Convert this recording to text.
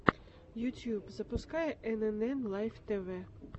ютюб запускай энэнэн лайф тэвэ